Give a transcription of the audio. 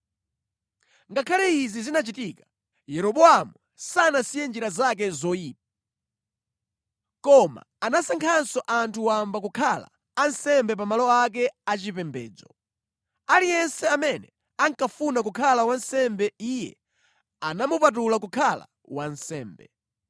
Ngakhale izi zinachitika, Yeroboamu sanasiye njira zake zoyipa, koma anasankhanso anthu wamba kukhala ansembe pa malo ake achipembedzo. Aliyense amene ankafuna kukhala wansembe iye anamupatula kukhala wansembe.